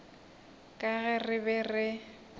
ka ge re be re